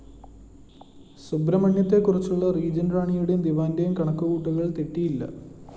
സുബ്രഹ്മണ്യത്തെക്കുറിച്ചുള്ള regent റാണിയുടെയും ദിവാന്റെയും കണക്കുകൂട്ടലുകള്‍ തെറ്റിയില്ല